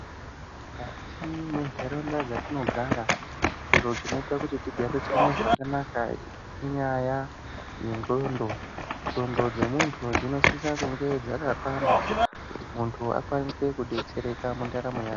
Mukati mentaraunda dzatinogara zviro zvinoita kuti tigarisane zvakanaka inyaya yendxondo. Ndxondo dzemuntu dzinosisa kunge dzakakwana kuti muntu akwanise kudetsereka mundaramo yake.